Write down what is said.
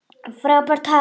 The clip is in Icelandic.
Frábært högg.